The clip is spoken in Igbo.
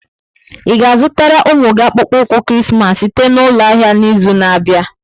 Ị ga-azụtara ụmụ gị akpụkpọ ụkwụ Krismas site na ụlọ ahịa n'izu na-abịa?